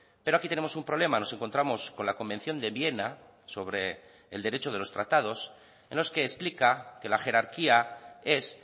pero aquí tenemos un problema nos encontramos con la convención de viena sobre el derecho de los tratados en los que explica que la jerarquía es